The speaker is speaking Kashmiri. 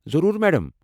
ضروٗر، میڈم۔